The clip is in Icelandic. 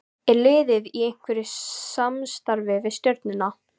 Er liðið í einhverju samstarfi við Stjörnuna?